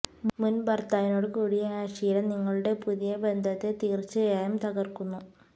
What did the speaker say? മുൻ ഭർത്താവിനോട് കൂടിയ അശ്ലീലം നിങ്ങളുടെ പുതിയ ബന്ധത്തെ തീർച്ചയായും തകർക്കുന്നു